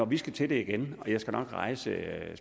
vi skal til det igen og jeg skal nok rejse